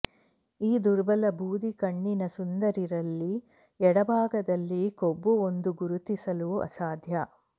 ಈ ದುರ್ಬಲ ಬೂದು ಕಣ್ಣಿನ ಸುಂದರಿ ರಲ್ಲಿ ಎಡಭಾಗದಲ್ಲಿ ಕೊಬ್ಬು ಒಂದು ಗುರುತಿಸಲು ಅಸಾಧ್ಯ